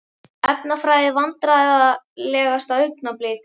Efnafræði Vandræðalegasta augnablik?